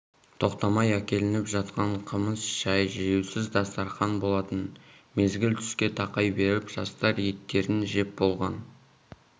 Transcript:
тоқтамай әкелініп жатқан қымыз шай жиюсыз дастарқан болатын мезгіл түске тақай беріп жастар еттерін жеп болған